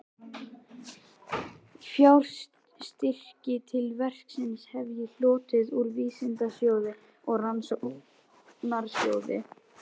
Fjárstyrki til verksins hef ég hlotið úr Vísindasjóði og Rannsóknarsjóði